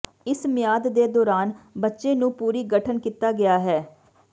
ਇਸ ਮਿਆਦ ਦੇ ਦੌਰਾਨ ਬੱਚੇ ਨੂੰ ਪੂਰੀ ਗਠਨ ਕੀਤਾ ਗਿਆ ਹੈ